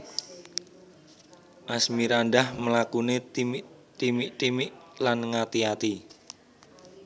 Asmirandah mlakune timik timik lan ngati ati